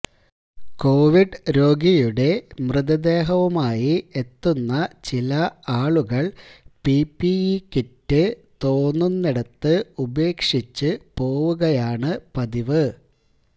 Covid രോഗിയുടെ മൃതദേഹവുമായി എത്തുന്ന ചില ആളുകള് പിപണ്ടിഇ കിറ്റ് തോന്നുന്നിടത്ത് ഉപേക്ഷിച്ചു പോവുകയാണ് പതിവ്